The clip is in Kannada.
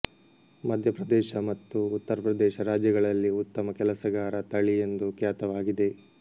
ಮಧ್ಯಪ್ರದೇಶ ಮತ್ತು ಉತ್ತರಪ್ರದೇಶ ರಾಜ್ಯಗಳಲ್ಲಿ ಉತ್ತಮ ಕೆಲಸಗಾರ ತಳಿ ಎಂದು ಖ್ಯಾತವಾಗಿದೆ